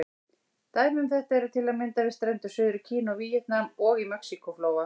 Dæmi um þetta eru til að mynda við strendur Suður-Kína og Víetnam, og í Mexíkó-flóa.